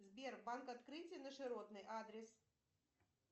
сбер банк открытие на широтной адрес